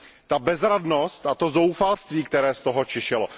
Ta bezradnost a to zoufalství, které z toho čišelo.